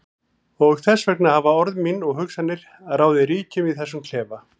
Og þess vegna hafa orð mín og hugsanir ráðið ríkjum í þessum klefa.